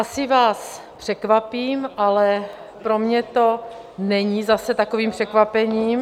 Asi vás překvapím, ale pro mě to není zase takovým překvapením.